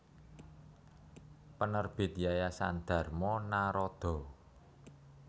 Penerbit Yayasan Dharma Naradha